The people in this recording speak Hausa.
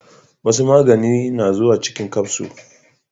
Wasu maganin na zuwa cikin kafso